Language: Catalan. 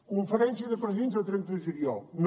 conferència de presidents del trenta de juliol no